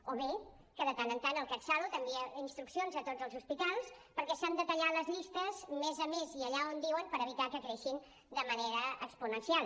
o bé que de tant en tant el catsalut envia instruccions a tots els hospitals perquè s’han de tallar les llistes a més a més i allà on diuen per evitar que creixin de manera exponencial